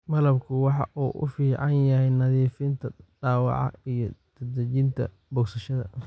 Malabku waxa uu u fiican yahay nadiifinta dhaawaca iyo dedejinta bogsashada.